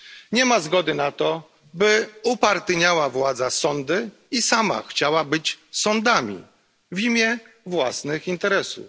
Nie ma zgody na to, by władza upartyjniała sądy i sama chciała być sądami w imię własnych interesów.